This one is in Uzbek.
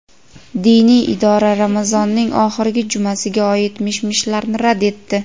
Diniy idora Ramazonning oxirgi jumasiga oid mish-mishlarni rad etdi.